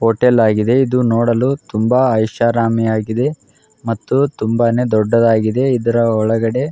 hotel ಆಗಿದೆ ಇದು ನೋಡಲು ತುಂಬಾ ಐಷಾರಾಮಿಯಾಗಿದೆ ಮತ್ತು ತುಂಬಾನೇ ದೊಡ್ಡದಾಗದೆ ಮತ್ತು ಇದರ ಒಳಗಡೆ --